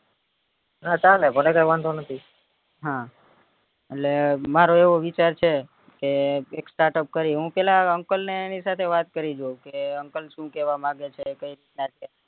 હતાને મને કી વાંધો નથી હા એટલે મારો એવો વિચાર છે કે startup કરીએ પેલા uncle ની એની સાથે વાત કરી લ્યો કે uncle શું કેવા માંગે છે કઈ રીત ના છે